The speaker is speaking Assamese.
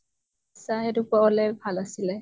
ছা সেইটো কোৱা হʼলে ভাল আছিলে ।